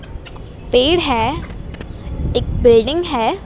पेड़ है एक बिल्डिंग है।